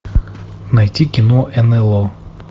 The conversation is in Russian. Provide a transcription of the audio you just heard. найти кино нло